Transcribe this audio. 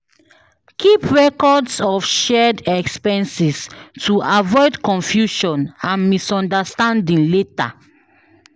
Keep records of shared expenses to avoid confusion and misunderstanding later.